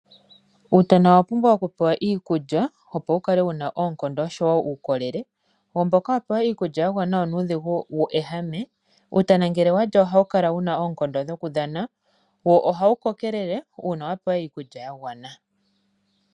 Uutana owapumbwa okupewa iikulya opo wukale wuna oonkondo nuukolele. Uutana mbu wa pewa iikulya ya gwana onuudhigu weehame, nuutana ngele walya ohawu kala wuna oonkondo dhoku dhana, wo ohawu kokelele uuna wapewa iikulya yagwana.